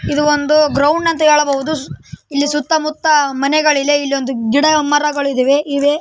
ಇದು ಒಂದು ಗ್ರೌಂಡ್‌ ಅಂತಾ ಹೇಳಬಹುದು. ಇಲ್ಲಿ ಸುತ್ತಾಮುತ್ತಾ ಮನೆಗಳು ಇಲ್ಲೇ ಇಲ್ಲೊಂದು ಗಿಡಮರಗಳು ಇದಾವೆ ಇವೆ.